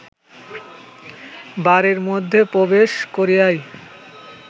বাড়ীর মধ্যে প্রবেশ করিয়াই